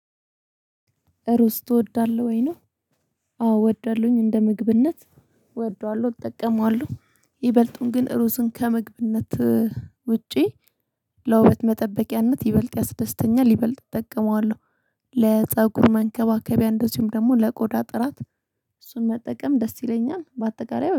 ሩዝ ትወዳለህ ወይ ነው? አዎ እወደዳለሁኝ እንደ ምግብነት እወደዋለሁ እጠቀመዋለሁ ይበልጡን ግን ሩዝን ከምግብነት ውጪ ለውበት መጠበቂያነት ይበልጥ ያስደስተኛል ይበልጥ እጠቀመዋለሁ። ለፀጉር መንከባከቢያ እንደዚሁም ደግሞ ለቆዳ ጥራት እሱን መጠቀም ደስ ይለኛል። በአጠቃላይ